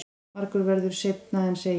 Margt verður seinna en segir.